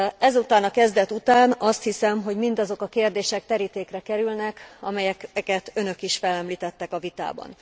Ezután a kezdet után azt hiszem, hogy mindazok a kérdések terítékre kerülnek, amelyeket önök is felemlítettek a vitában.